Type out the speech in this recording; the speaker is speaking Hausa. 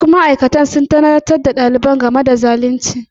Duk ma'aikatan sun tunatar da ɗalibin game da abin da ke tattare da zalunci.